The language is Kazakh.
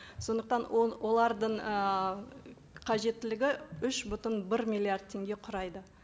сондықтан олардың ііі қажеттілігі үш бүтін бір миллиард теңге құрайды